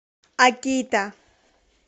акита